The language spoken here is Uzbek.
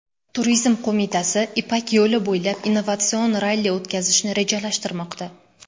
Turizm qo‘mitasi Ipak yo‘li bo‘ylab innovatsion ralli o‘tkazishni rejalashtirmoqda.